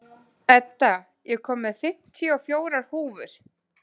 Edda, ég kom með fimmtíu og fjórar húfur!